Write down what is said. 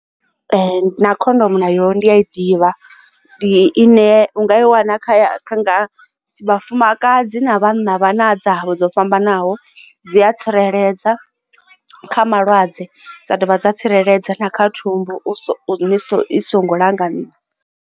Na khondomu nayo ndi ya i ḓivha ndi ine u nga i wana kha vhafumakadzi na vhana vha na dza vha dzo fhambanaho dzi a tsireledza kha malwadze dza dovha dza tsireledza na kha thumbu i songo langaniwa.